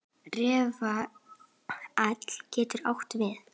Rafael getur átt við